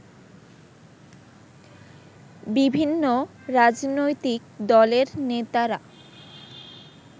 বিভিন্ন রাজনৈতিক দলের নেতারা